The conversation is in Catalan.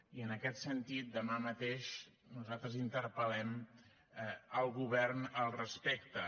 i en aquest sentit demà mateix nosaltres interpel·lem el govern al respecte